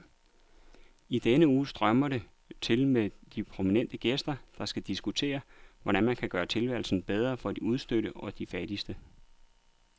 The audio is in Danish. I denne uge strømmer det til med prominente gæster, der skal diskutere, hvordan man kan gøre tilværelsen bedre for de udstødte og de fattigste.